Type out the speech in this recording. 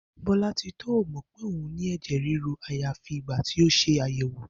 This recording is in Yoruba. Bó̩lá̩titó ò mò̩ pé òun ní è̩jè̩ ríru àyàfi ìgbà tí ó se àyè̩wò